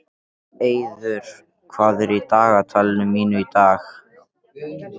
Eiður, hvað er í dagatalinu mínu í dag?